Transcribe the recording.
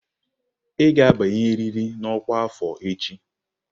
Ị ga-abanyerịrị na ọkwa afọ echi!